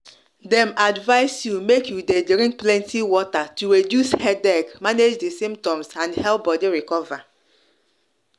dem advise you make you dey drink plenty water to reduce headache manage di symptoms and help your body recover